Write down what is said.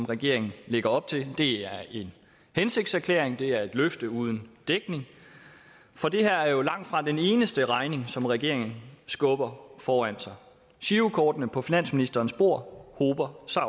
regeringen lægger op til det er en hensigtserklæring det er et løfte uden dækning for det her er jo langtfra den eneste regning som regeringen skubber foran sig girokortene på finansministerens bord hober sig